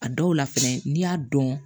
A dɔw la fɛnɛ n'i y'a dɔn